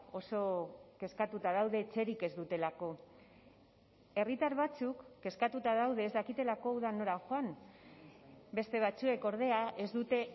oso kezkatuta daude etxerik ez dutelako herritar batzuk kezkatuta daude ez dakitelako udan nora joan beste batzuek ordea ez dute